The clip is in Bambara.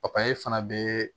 fana bɛ